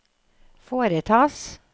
foretas